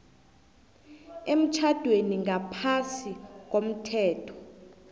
emtjhadweni ngaphasi komthetho